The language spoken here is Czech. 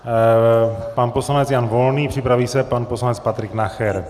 Pan poslanec Jan Volný, připraví se pan poslanec Patrik Nacher.